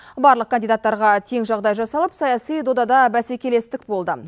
барлық кандидаттарға тең жағдай жасалып саяси додада бәсекелестік болды